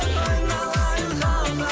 айналайын халқым